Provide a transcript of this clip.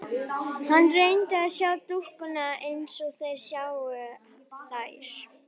Hann reyndi að sjá dúkkuna eins og þeir sáu þær.